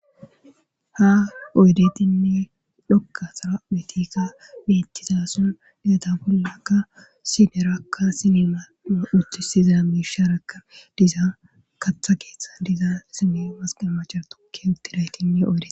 ha oydetinni dhokka sara betikka mettiza son deta bollakka sinerakka sinema uctisiza miisha rakka diza katha keeththa diza sine masqamacher tokki utidaytinni oyde